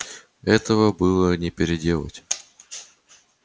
этого было не переделать